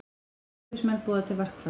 Slökkviliðsmenn boða til verkfalls